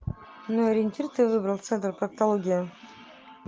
ну ориентир ты выбрал центр проктологии